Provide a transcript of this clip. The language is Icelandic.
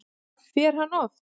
Fer hann oft?